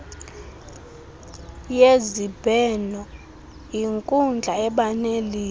yezibhenoyinkundla eba nelizwi